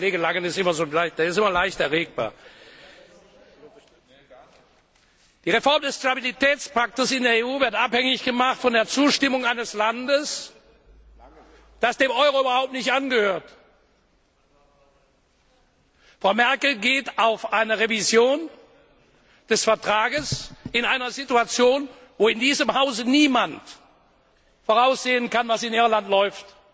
Herr Kollege Langen ist immer leicht erregbar. Die Reform des Stabilitätspakts in der EU wird abhängig gemacht von der Zustimmung eines Landes, das dem Euro überhaupt nicht angehört. Frau Merkel geht auf eine Revision des Vertrags in einer Situation ein, bei der in diesem Hause niemand voraussehen kann, was in Irland läuft.